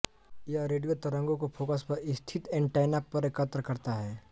यह रेडियो तरंगों को फोकस पर स्थित ऐंटैना पर एकत्र करता है